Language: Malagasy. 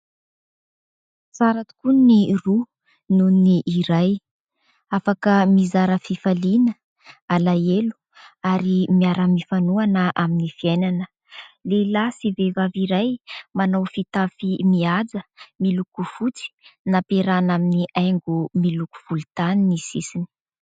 Tsara tokoa ny roa noho ny iray, afaka mizara fifaliana, alahelo ary miara-mifanohana amin'ny fiainana. Lehilahy sy vehivavy iray manao fitafy mihaja, miloko fotsy, nampiarahana amin'ny haingo miloko volontany ny sisiny.